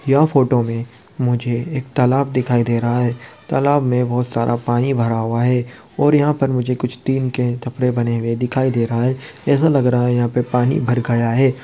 यह फोटो में मुझे एक तालाब दिखाई दे रहा हैं। तालाब में बहुत सारा पानी भरा हुआ हैं। और यहाँ पे मुझे कुछ टिन के टपरे बने हुए दिखाई दे रहा हैं। ऐसा लग रहा है यहाँ पे पानी भर गया हैं।